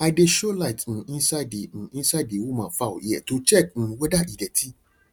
i dey show light um inside the um inside the woman fowl ear to check um whether e dirty